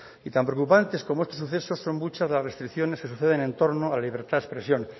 y tan preocupantes como estos sucesos son muchas las restricciones que suceden en torno a la libertad de expresión